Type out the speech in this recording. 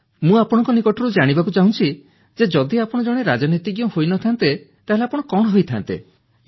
ମୁଁ ଆପଣଙ୍କ ନିକଟରୁ ଜାଣିବାକୁ ଚାହୁଁଛି ଯେ ଯଦି ଆପଣ ଜଣେ ରାଜନୀତିଜ୍ଞ ହୋଇନଥାନ୍ତେ ତାହାଲେ ଆପଣ କଣ ହୋଇଥାନ୍ତେ